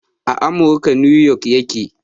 A amurka 'New York' ya ke